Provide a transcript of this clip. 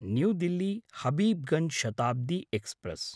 new Delhi Habibganj Shatabdi express